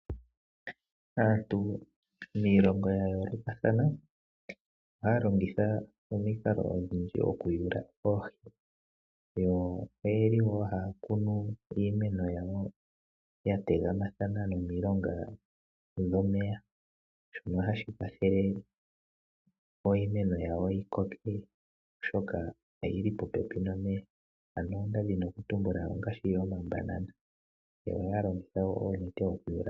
Aantu miilongo ya yoolokathana, ohaya longitha omikalo odhindji oku yula oohi. Yo oyeli wo haya kunu iimeno yawo ya tegamathana nomilonga dhomeya shono hashi kwathele opo iimeno yawo yi koke oshoka oyili popepi nomeya. Ano ndadhini oku tumbula omambanana. Yo ohayi longitha oonete oku yula.